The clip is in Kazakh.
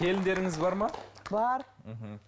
келіндеріңіз бар ма бар мхм